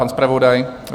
Pan zpravodaj?